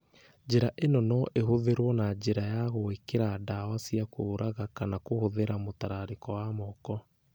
njĩra ĩno no ĩhũthĩrũo na njĩra ya gwĩkĩra ndawa cia kũruga kana kũhũthĩra mũtararĩko wa moko